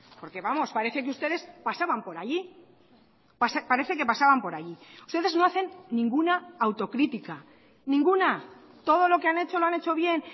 porque vamos parece que ustedes pasaban por allí parece que pasaban por allí ustedes no hacen ninguna autocrítica ninguna todo lo que han hecho lo han hecho bien